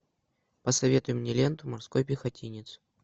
посоветуй мне ленту морской пехотинец